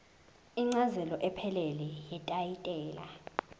incazelo ephelele yetayitela